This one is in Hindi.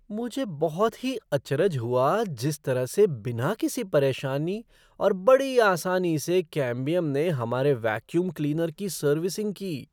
मुझे बहुत ही अचरज हुआ जिस तरह से बिना किसी परेशानी और बड़ी आसानी से कैम्बियम ने हमारे वैक्यूम क्लीनर की सर्विसिंग की।